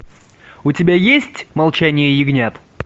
у тебя есть молчание ягнят